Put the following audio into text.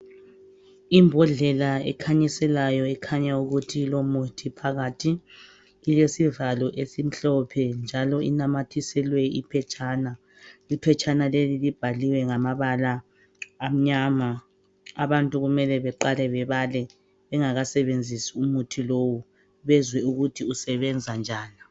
Imbhodlela ekhanyiselayo ekhanya ukuthi ilomuthi phakathi, ilesivalo esimhlophe njalo inamathiselwe iphetshana. Iphetshana leli libhaliwe ngamabala amnyama, abantu kumele beqale bebale bezwe ukuthi umuthi usebenza njani.